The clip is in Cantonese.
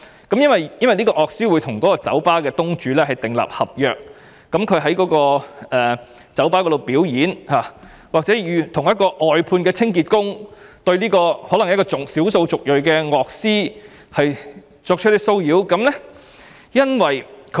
該樂師與酒吧東主訂立合約，而在該酒吧表演期間，一名外判清潔工人對這名小數族裔樂師作出騷擾。